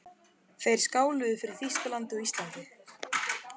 Þeir skáluðu fyrir Þýskalandi og Íslandi.